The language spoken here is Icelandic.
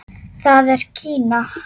Það er Kína.